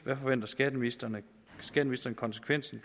hvad forventer skatteministeren konsekvensen